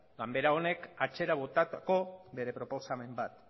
ganbara honek atzera botatako bere proposamen bat